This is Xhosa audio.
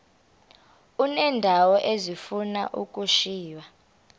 uneendawo ezifuna ukushiywa